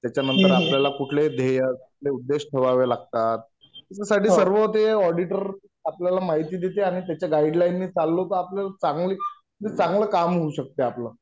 त्याच्या नंतर आपल्याला कुठले ध्येय, कुठले उद्देश ठेवावे लागतात. ह्याच्यासाठी सर्व ते ऑडीटर आपल्याला माहिती देते आणि त्याच्या गाईडलाईननी चाललो तर आपल्याला चांगली म्हणजे चांगलं काम होऊ शकते आपलं.